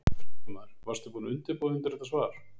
Fréttamaður: Varstu búinn að undirbúa þig undir þetta svar?